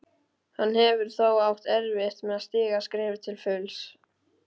Hann hefur þó átt erfitt með að stíga skrefið til fulls.